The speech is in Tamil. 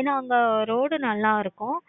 ஏன அங்க road ரொம்ப நல்ல இருக்கும்.